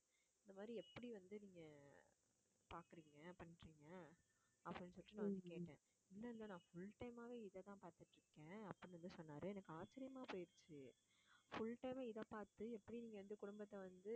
இந்த மாதிரி எப்படி வந்து நீங்க பாக்கறீங்க பண்றீங்க அப்படின்னு சொல்லிட்டு நான் வந்து கேட்டேன் இல்லை இல்லை நான் full time ஆவே இதைத்தான் பார்த்துட்டு இருக்கேன் அப்படின்னு வந்து சொன்னாரு. எனக்கு ஆச்சரியமா போயிடுச்சு full time ஆ இதைப் பார்த்து எப்படி நீங்க வந்து குடும்பத்தை வந்து